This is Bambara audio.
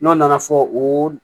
N'a nana fɔ o